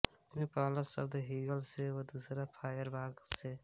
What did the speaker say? इसमे पहला शब्द हीगल से व दूसरा फायरबाख से